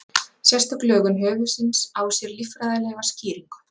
sérstök lögun höfuðsins á sér líffræðilega skýringu